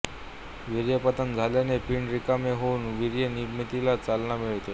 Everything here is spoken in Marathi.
वीर्यपतन झाल्याने पिंड रिकामे होवून वीर्य निर्मितीला चालना मिळते